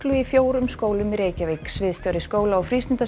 í fjórum skólum í Reykjavík sviðstjóri skóla og